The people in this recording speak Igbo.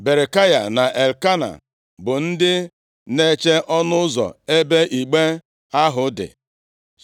Berekaya na Elkena bụ ndị na-eche ọnụ ụzọ ebe igbe ahụ dị.